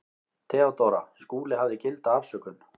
THEODÓRA: Skúli hafði gilda afsökun.